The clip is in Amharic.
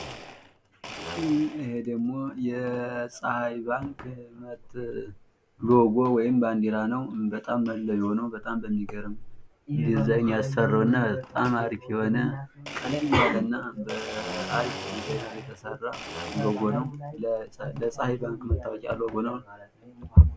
ይሄ ደሞ የፀሀይ ባንክ ሎግ ወይም ባዲራ ነው። በጣም መለዮ ነው በጣም በሚገርም ዲዛይን ያሰራውና አሪፍ የሆነ ቀለል ያለና በአሪፍ ዲዛይን የተሰራ ሎጎ ነው። ለፀሀይ ባንክ መታወቂያ ሎጎ ነው።